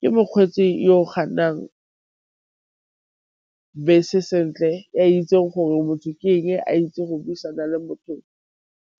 Ke mokgweetsi yo bese sentle e a itse gore motho ke eng, a itse go buisana le motho